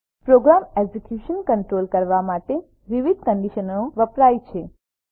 programme execution control કરવા માટે વિવિધ કન્ડીશનનો વપરાય છે